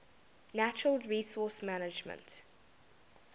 natural resource management